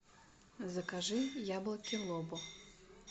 закажи яблоки лобо